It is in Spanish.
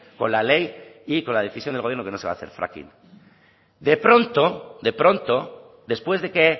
con la ley y con la decisión del gobierno que no se va a hacer fracking de pronto de pronto después de que